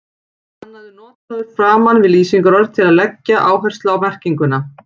Hann er notaður framan við lýsingarorð til þess að leggja áherslu á merkinguna.